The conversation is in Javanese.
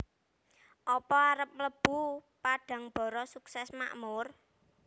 Opo arep mlebu Padangbara Sukses Makmur?